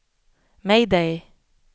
mayday